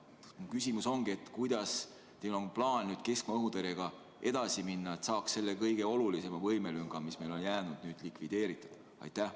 Mu küsimus ongi: kuidas teil on plaan keskmaa-õhutõrjega edasi minna, et saaks selle kõige olulisema võimelünga, mis meil on jäänud, nüüd likvideerida?